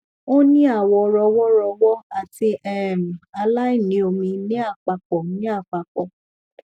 o ni awọ rọwọ rọwọ ati um aláìní omi ni apapọ ni apapọ